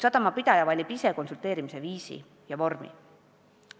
Sadamapidaja valib konsulteerimise viisi ja vormi aga ise.